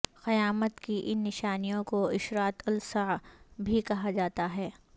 قیامت کی ان نشانیوں کو اشراط الساعہ بھی کہا جاتا ہے